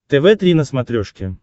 тв три на смотрешке